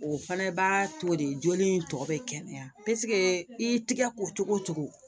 O fana b'a to de joli in tɔ bɛ kɛnɛya i y'i tigɛ ko cogo cogo